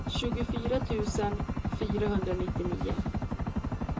tjugofyra tusen fyrahundranittionio